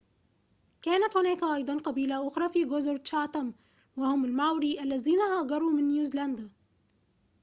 كانت هناك أيضاً قبيلة أخرى في جزر تشاتام وهم الماوري الذين هاجروا من نيوزيلندا